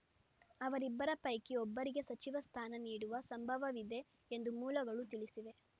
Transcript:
ಅವರಿಬ್ಬರ ಪೈಕಿ ಒಬ್ಬರಿಗೆ ಸಚಿವ ಸ್ಥಾನ ನೀಡುವ ಸಂಭವವಿದೆ ಎಂದು ಮೂಲಗಳು ತಿಳಿಸಿವೆ